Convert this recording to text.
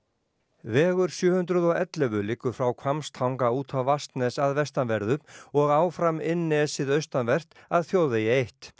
vegur sjö hundruð og ellefu liggur frá Hvammstanga út Vatnsnes að vestanverðu og áfram inn nesið austanvert að þjóðvegi eitt